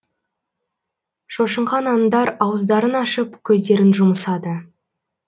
шошынған аңдар ауыздарын ашып көздерін жұмысады